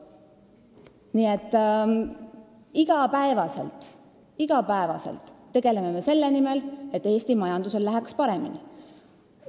Nii et iga päev, iga päev me tegutseme selle nimel, et Eesti majandusel läheks paremini.